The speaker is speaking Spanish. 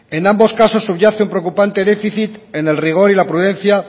en ambos casos subyace un preocupante déficit en el rigor y la prudencia